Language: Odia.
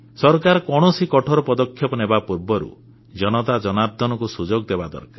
ସରକାର କୌଣସି କଠୋର ପଦକ୍ଷେପ ନେବା ପୂର୍ବରୁ ଜନତାଜନାର୍ଦ୍ଦନଙ୍କୁ ସୁଯୋଗ ଦେବା ଦରକାର